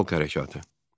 Xalq hərəkatı.